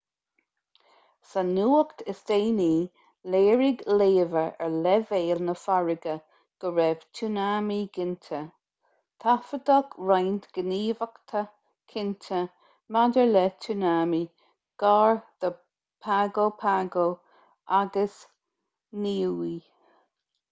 sa nuacht is déanaí léirigh léamha ar leibhéil na farraige go raibh tsunami ginte taifeadadh roinnt gníomhaíochta cinnte maidir le tsunami gar do pago pago agus niue